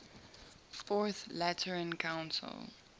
fourth lateran council